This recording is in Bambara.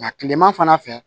Nka kilema fana fɛ